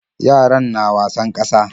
Yaran na wasan ƙasa.